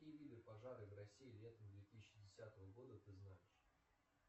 какие виды пожары в россии летом две тысячи десятого года ты знаешь